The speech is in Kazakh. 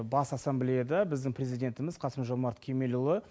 бас ассамблеяда біздің президентіміз қасым жомарт кемелұлы